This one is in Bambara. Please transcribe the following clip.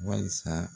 Walisa